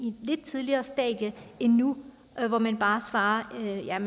et lidt tidligere stadie end nu hvor man bare svarer at det er